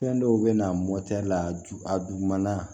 Fɛn dɔw bɛ na mɔtɛri la a ju a juguman